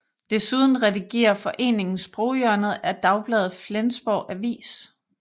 Desuden redigerer foreningen Sproghjørnet i dagbladet Flensborg Avis